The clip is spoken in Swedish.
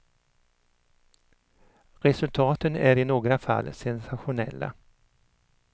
Resultaten är i några fall sensationella.